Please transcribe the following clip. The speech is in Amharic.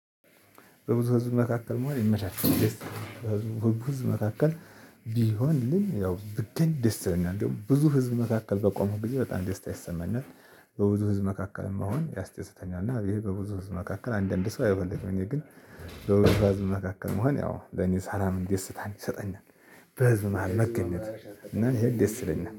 በብዙ ህዝብ መካከል መሆን ይመቻችል። በብዙ ህዝብ መካከል ቢሆንልኝ ያው ብገኝ ደስ ይለኛል ብዙ ህዝብ መካከል በቆምኩ ጊዜ በጣም ደስታ ይሰማኛል። በብዙ ህዝብ መካከል መሆን ያስደስተኛል እና ይሄ በብዙ ህዝብ መካከል አንዳንድ ሰው አይፈልግም እኔ ግን በብዙ ህዝብ መካከል መሆን ያው ለኔ ሳላም ደስታን ይሰጠኛል። በህዝብ መሃል መገኘት እና ይሄ ይስ ይለኛል